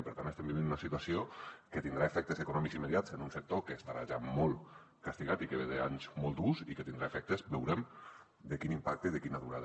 i per tant estem vivint una situació que tindrà efectes econòmics immediats en un sector que estarà ja molt castigat i que ve d’anys molt durs i que tindrà efectes veurem de quin impacte i de quina durada